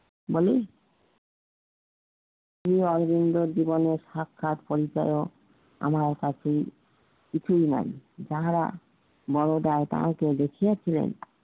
বলেন অরবিন্দ জীবনের সাক্ষাৎ পরিচায়ক আমার কাছে কিছুই নাই যাহারা তাদেরকে দেখিয়েছিলেন